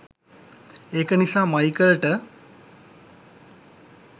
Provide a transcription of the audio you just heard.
ඒක නිසා මයිකල්ට